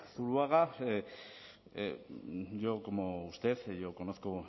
zuluaga yo como usted yo conozco